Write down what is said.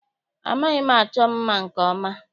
Amaghị m achọ mma nke ọma.